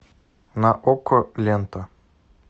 на окко лента